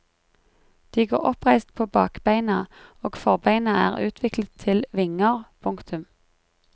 De går oppreist på bakbeina og forbeina er utviklet til vinger. punktum